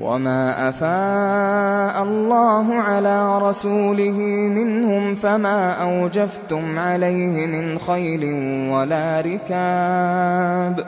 وَمَا أَفَاءَ اللَّهُ عَلَىٰ رَسُولِهِ مِنْهُمْ فَمَا أَوْجَفْتُمْ عَلَيْهِ مِنْ خَيْلٍ وَلَا رِكَابٍ